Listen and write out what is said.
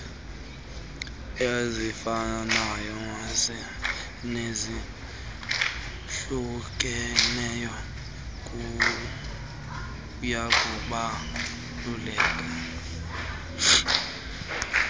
ezifanayo nezahlukeneyo kuyakubaluleka